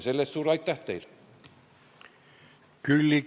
Selle eest suur aitäh teile!